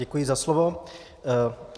Děkuji za slovo.